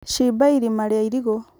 cimba irima rĩa irigũ